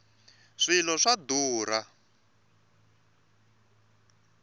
swilo swa durha